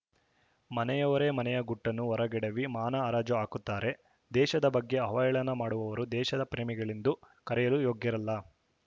ಮನೆಯವರೇ ಮನೆಯ ಗುಟ್ಟನ್ನು ಹೊರಗೆಡವಿ ಮಾನ ಹರಾಜು ಹಾಕುತ್ತಾರೆ ದೇಶದ ಬಗ್ಗೆ ಅವಹೇಳನ ಮಾಡುವವರು ದೇಶ ಪ್ರೇಮಿಗಳೆಂದು ಕರೆಯಲು ಯೋಗ್ಯರಲ್ಲ